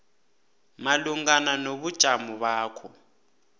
malungana nobujamo bakho